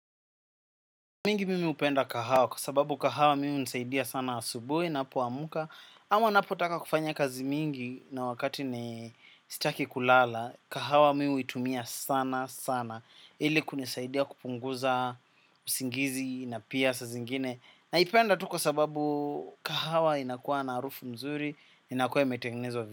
Mingi mimi upenda kahawa kwa sababu kahawa mi unisaidia sana asubui napoamka. Ama ninapotaka kufanya kazi mingi na wakati ni sitaki kulala. Kahawa mi uitumia sana sana. Ili kunisaidia kupunguza usingizi na pia saa zingine. Naipenda tu kwa sababu kahawa inakuwa na arufu mzuri. Inakuwa imetengenezwa vile.